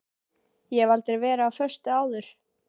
Ég hef aldrei verið á föstu áður.